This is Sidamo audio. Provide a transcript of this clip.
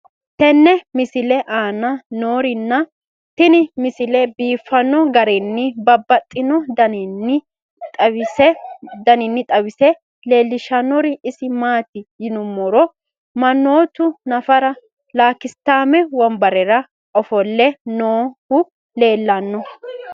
tenne misile aana noorina tini misile biiffanno garinni babaxxinno daniinni xawisse leelishanori isi maati yinummoro manoottu naffara lakisitaame wonbarera offolle noohu leelanno